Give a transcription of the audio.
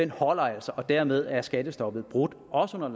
holder altså og dermed er skattestoppet brudt også under